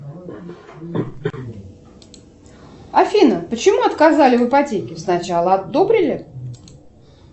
афина почему отказали в ипотеке сначала одобрили